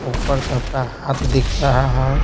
ऊपर सबका हाथ दिख रहा है।